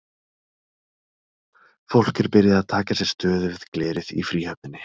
Fólk er byrjað að taka sér stöðu við glerið í Fríhöfninni.